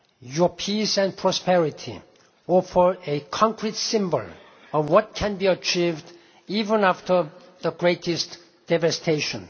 waste. Your peace and prosperity offer a concrete symbol of what can be achieved, even after the greatest devastation.